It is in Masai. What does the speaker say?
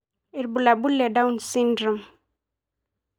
Ibulabul le Down syndrome.